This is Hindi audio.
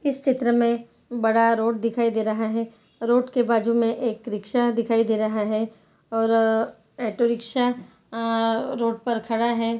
इस चित्र में बड़ा रोड दिखाई दे रहा है रोड के बाजु में एक रिक्शा दिखाई दे रहा है और ऑटो रिक्शा अ रोड पर खड़ा है।